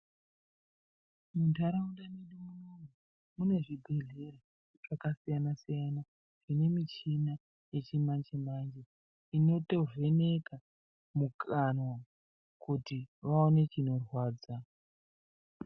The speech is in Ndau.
Muntaraunda medu munomu, mune zvibhedhlera zvakasiyana siyana, zvine michina yechimanje manje, inoto vheneka mukanwa kuti vaone chinorwadza.